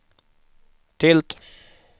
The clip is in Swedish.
tilt